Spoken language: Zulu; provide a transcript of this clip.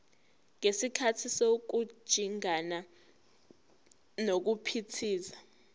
ngesikhathi sokujingana nokuphithiza